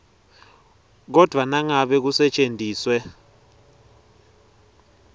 kodvwa nangabe kusetjentiswe